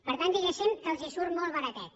per tant diguéssim que els surt molt baratet